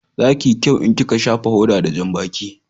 Za ki yi kyau in ki ka shafa hoda da janbaki